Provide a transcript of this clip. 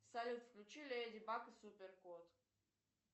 салют включи леди баг и супер кот